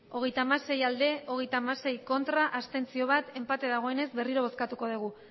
hogeita hamasei bai hogeita hamasei ez bat abstentzio enpate dagoenez berriro bozkatuko dugu